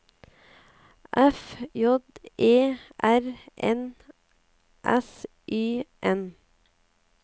F J E R N S Y N